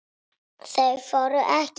Þau voru EKKI.